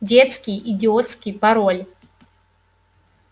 детский идиотский пароль